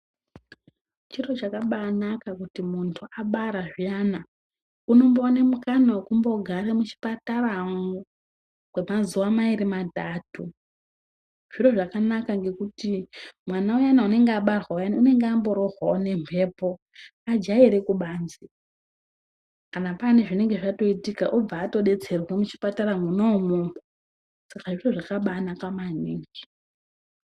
Chiro chakabainaka kuti muntu abara zviyana unombo wana mukana wekumbo gara muchipatara mwo kwe mazuva mairi matatu zviro zvakanaka ngekuti mwana uyana unenge abarwa uyani unenge ambo warohwawo ne mhepo akaira kubanze kana pane zvinenge zvaitika oto batsirwa muchipatara mwona imomo izvozvo zvakabai naka maningi.